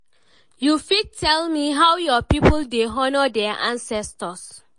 you fit tell me how your people dey honour their ancestors?